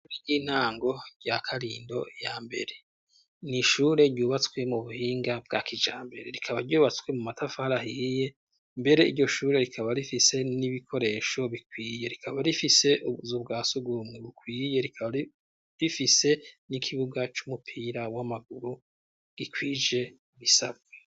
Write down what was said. Ishure y'intango rya karindo ya mbere niishure ryubatswe mu buhinga bwa kijambere rikaba ryubatswe mu matafari ahiye mbere iryo shure rikaba rifise n'ibikoresho bikwiye rikaba rifise zu bwa sugumwe bukwiye rikaba rifise n'ikibuga cy'umupira w'amaguru gikwije bisabwe.